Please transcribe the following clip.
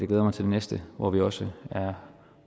glæder mig til det næste hvor vi også er